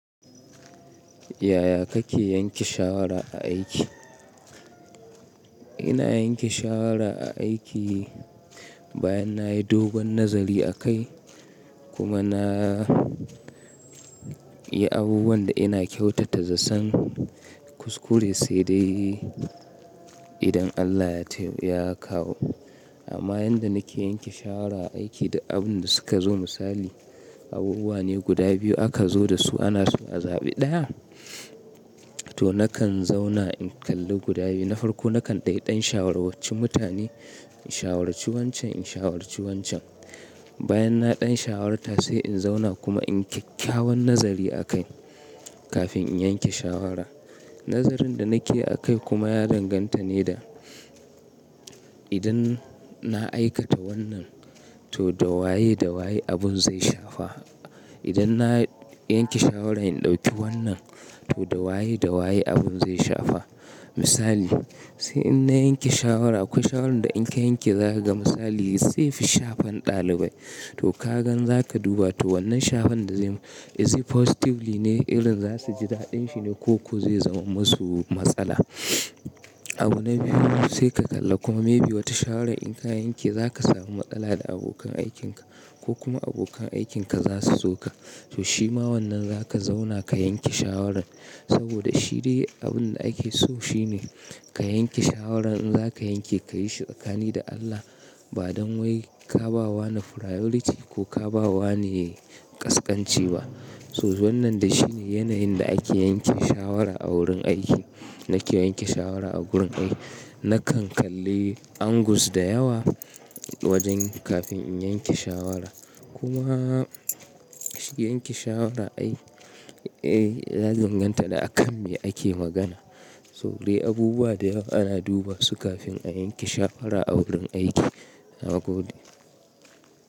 Ya ya kake yanke shawara a aiki? Ina yanke shawara a aiki bayan nayi dogon nazari a kai kuma na yi abubuwan da ina kyautata zaton kuskure sai dai idan Allah ya kawo. Amma yanda nake yanke shawara a aiki duk abun da suka zo misali abubuwa ne guda biyu aka zo dasu ana so a zaɓi daya to na kan zauna in kalli guda biyu. Na farko na kan dai ɗan shawarwanci mutane in shawarci wancan in shawarci wancan. Bayan na ɗan shawarwata sai in zauna kuma in kyakkyawan nazari a kai kafin in yanke shawara. Nazarin da nake a kai kuma ya danganta ne da idan na aikata wannan to da waye da waye abun zai shafa. Idan na yanke shawaran in ɗauki wannan to da waye da waye abun zai shafa. Misali sai ina yanke shawara akwai shawarar da in ka yanke zaka ga misali zai fi shafan ɗalibai to ka gan zaka duba to wannan shafan da zai is it positively ne irin zasu ji daɗin shi ne ko zai zama masu matsala. Abu na biyu sai ka kalla kuma maybe wata shawara in ka yanke zaka samu matsala da abokan aikinka ko kuma abokan aikinka za su so ka. To shima wannan zaka zauna ka yanke shawarar saboda shi dai abun da ake so shi ne ka yanke shawaran in zaka yanke ka yi shi tsakanin da Allah ba don wai ka ba wa na priority ko ka ba wa ne ƙasƙanci ba. To wannan da shi ne yanayin da ake yanke shawara a wurin aiki. Nake yanke shawara a gurin aiki nakan kalli angles da yawa wajen kafin in yanke shawara. Kuma yanke shawara ai ya danganta da a kan me ake magana. To dai abubuwa da yawa ana duba su kafin a yanke shawara a wurin aiki na gode.